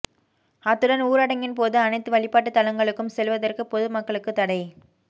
அத்துடன் ஊரடங்கின் போது அனைத்து வழிபாட்டு தலங்களுக்கும் செல்வதற்கு பொது மக்களுக்கு தடை